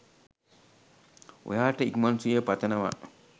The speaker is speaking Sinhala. ඔයා ට ඉක්මන් සුවය පතනවා